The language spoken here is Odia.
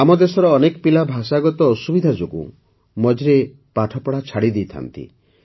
ଆମ ଦେଶର ଅନେକ ପିଲା ଭାଷାଗତ ଅସୁବିଧା ଯୋଗୁଁ ମଝିରେ ପାଠ ଛାଡ଼ି ଦେଇଥାନ୍ତି